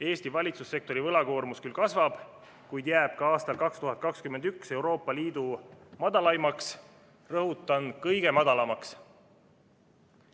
Eesti valitsussektori võlakoormus küll kasvab, kuid jääb ka aastal 2021 Euroopa Liidu madalaimaks, rõhutan: kõige madalamaks.